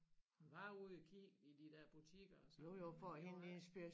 Hun var ude og kigge i de dér butikker og sådan noget men det var ikke